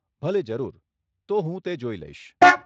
ભલે, જરૂર, તો હું તે જોઈ લઈશ.